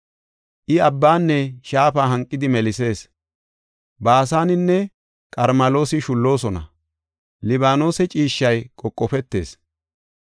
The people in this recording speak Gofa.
I abbanne shaafa hanqidi melisees; Baasanenne Qarmeloosi shulloosona. Libaanose ciishshay qoqofetees.